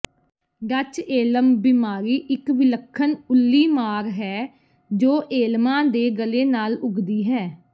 Dutch elm ਬਿਮਾਰੀ ਇਕ ਵਿਲੱਖਣ ਉੱਲੀਮਾਰ ਹੈ ਜੋ ਏਲਮਾਂ ਦੇ ਗਲੇ ਨਾਲ ਉੱਗਦੀ ਹੈ